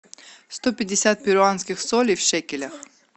сто пятьдесят перуанских солей в шекелях